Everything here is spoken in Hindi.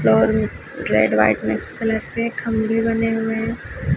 रेड व्हाइट मिक्स कलर के खंबे बने हुए हैं।